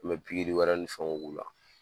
N bɛ pikiri wɛrɛ ni fɛnw k'u la